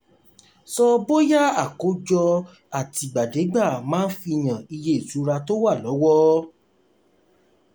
sọ bóyá: àkójọ àtì'gbàdé'gbà máa fihan iye ìṣura tó wà lówó.